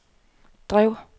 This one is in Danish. drev